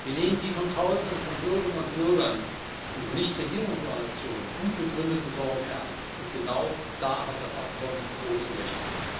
Wir nehmen die von Tausenden von Bürgerinnen und Bürgern und Nichtregierungsorganisationen gut begründeten Sorgen ernst, und genau da hat das Abkommen große Löcher.